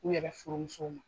U yɛrɛ furumusow ma.